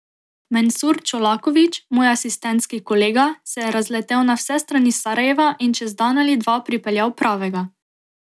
Mensur Čolaković, moj asistentski kolega, se je razletel na vse strani Sarajeva in čez dan ali dva pripeljal pravega.